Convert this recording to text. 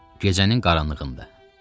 Gecənin qaranlığında.